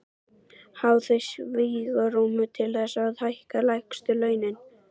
Hafa þau svigrúm til þess að hækka lægstu launin?